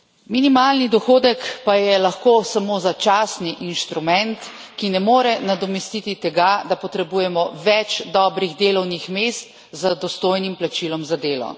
Minimalni dohodek pa je lahko samo začasni inštrument, ki ne more nadomestiti tega, da potrebujemo več dobrih delovnih mest z dostojnim plačilom za delo.